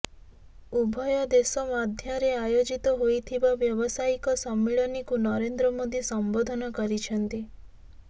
ଉଭୟ ଦେଶ ମଧ୍ୟରେ ଆୟୋଜିତ ହୋଇଥିବା ବ୍ୟବସାୟିକ ସମ୍ମିଳନୀକୁ ନରେନ୍ଦ୍ର ମୋଦି ସମ୍ବୋଧନ କରିଛନ୍ତି